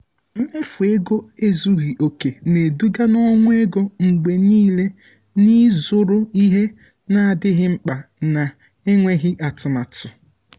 mmefu ego ezughị oke na-eduga na ọnwụ ego mgbe niile n’ịzụrụ ihe na-adịghị mkpa na-enweghị atụmatụ.